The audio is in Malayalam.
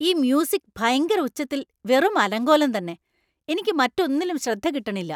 ഈ മ്യൂസിക് ഭയങ്കര ഉച്ചത്തിൽ വെറും അലങ്കോലം തന്നെ. എനിക്ക് മറ്റൊന്നിലും ശ്രദ്ധ കിട്ടണില്ല .